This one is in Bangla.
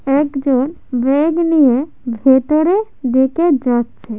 একজন ব্যাগ নিয়ে ভেতরে বেকে যাচ্ছে।